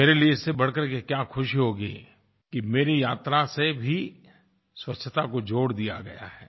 मेरे लिए इससे बढ़कर के क्या खुशी होगी कि मेरी यात्रा से भी स्वच्छता को जोड़ दिया गया है